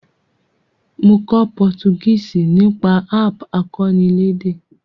Mo kó Portuguese nípasẹ̀ app akọ́nilédè